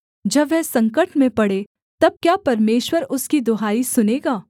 जब वह संकट में पड़े तब क्या परमेश्वर उसकी दुहाई सुनेगा